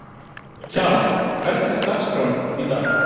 Kjalar, hvernig er dagskráin í dag?